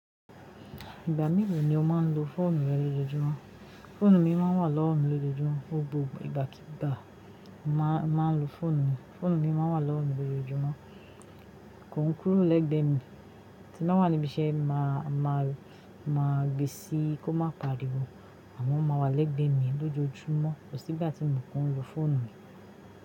Ìgbà mélò ni ó máa ń lo fóònù rẹ lójojúmọ́. Fóònù mi máa ń wà lọ́wọ́ mi lójojúmọ́. Gbogbo ìgbàkígbà máa ń lo fóònù mi. Fóònù mi máa ń wà lọ́wọ́ mi lójoojúmọ́ kò un kúrò lẹ́gbẹ̀ mi. Tí n bá wà níbi iṣẹ́, màá gbe síi kó má pariwo, àmọ́ ó máa wà lẹ́gbẹ̀ẹ́ mi lójoojúmọ́, kòsí ìgbà tí mò ki n lo fóònù mi.